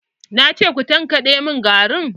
Na ce ku tankaɗe garin!